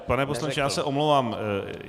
Pane poslanče, já se omlouvám.